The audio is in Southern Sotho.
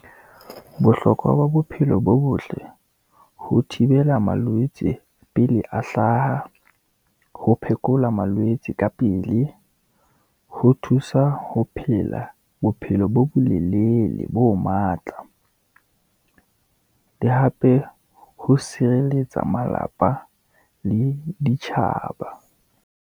Bohlokwa ba bophelo bo botle ho thibela malwetse pele a hlaha, ho phekola malwetse ka pele, ho thusa ho phela bophelo bo bolelele bo matla, le hape ho sireletsa malapa le ditjhaba.